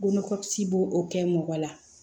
Bolokɔsi b'o kɛ mɔgɔ la